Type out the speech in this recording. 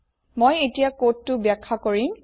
মই এতিয়া কোডটো ব্যাখ্যা কৰিম